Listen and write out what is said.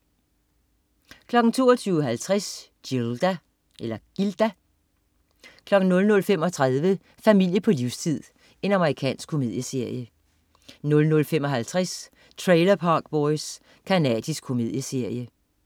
22.50 Gilda 00.35 Familie på livstid. Amerikansk komedieserie 00.55 Trailer Park Boys. Canadisk komedieserie